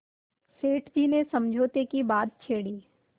सेठ जी ने समझौते की बात छेड़ी